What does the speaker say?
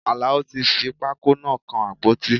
Alao fi pákó náà kan àpótí